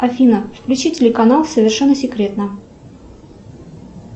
афина включи телеканал совершенно секретно